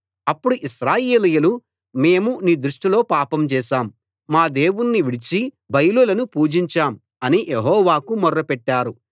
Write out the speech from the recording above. అప్పుడు ఇశ్రాయేలీయులు మేము నీ దృష్టిలో పాపం చేశాం మా దేవుణ్ణి విడిచి బయలులను పూజించాం అని యెహోవాకు మొర్రపెట్టారు